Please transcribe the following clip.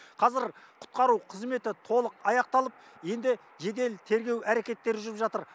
қазір құтқару қызметі толық аяқталып енді жедел тергеу әрекеттері жүріп жатыр